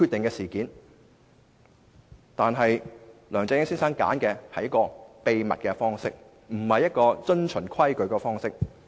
可是，梁振英先生卻選擇以秘密的方式，不遵從規矩行事。